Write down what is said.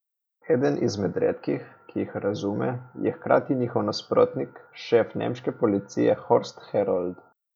Eden izmed redkih, ki jih razume, je hkrati njihov nasprotnik, šef nemške policije Horst Herold.